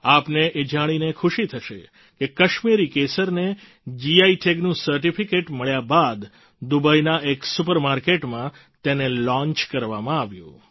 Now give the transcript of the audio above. આપને એ જાણીને ખુશી થશે કે કાશ્મીરી કેસરને જીઆઈ ટેગ નું સર્ટિફિકેટ મળ્યા બાદ દુબઈના એક સુપર માર્કેટમાં તેને લોન્ચ કરવામાં આવ્યું